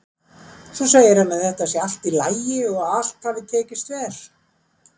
Svo segir hann að þetta sé allt í lagi og að allt hafi tekist vel.